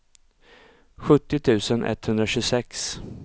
sjuttio tusen etthundratjugosex